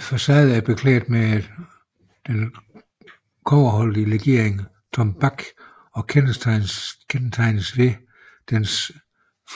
Facaden er beklædt med den kobberholdige legering tombak og kendetegnes ved dens